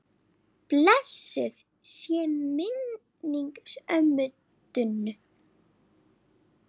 Blessuð sé minning ömmu Dúnu.